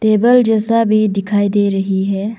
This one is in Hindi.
टेबल जैसा भी दिखाई दे रही है।